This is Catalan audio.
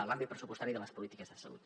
l’àmbit pressupostari de les polítiques de salut